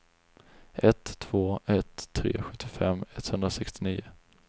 ett två ett tre sjuttiofem etthundrasextionio